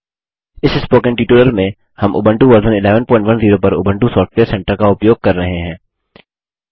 इस spoken tutorial में हम उबंटू वर्जन 1110 पर उबंटू सॉफ्टवेयर सेंटर का उपयोग कर रहे हैं